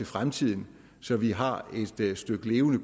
fremtiden så vi har et stykke levende